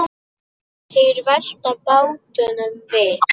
Þeir velta bátnum við.